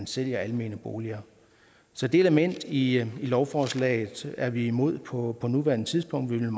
sælge almene boliger så det element i lovforslaget er vi imod på nuværende tidspunkt